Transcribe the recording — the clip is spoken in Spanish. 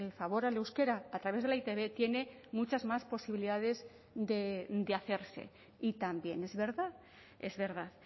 favor al euskera a través de la e i te be tiene muchas más posibilidades de hacerse y también es verdad es verdad